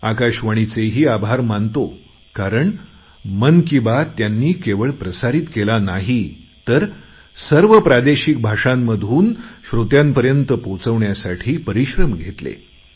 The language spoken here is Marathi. आकाशवाणीचेही मी आभार मानतो कारण मन की बात त्यांनी केवळ प्रसारित केली नाही तर सर्व प्रादेशिक भाषांमधून श्रोत्यांपर्यंत पोचवण्यासाठी परिश्रम घेतले